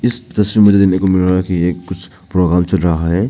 इस तस्वीर में मुझे देखने को मिल रहा है की एक कुछ प्रोग्राम चल रहा है।